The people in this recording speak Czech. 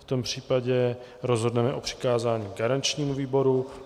V tom případě rozhodneme o přikázání garančnímu výboru.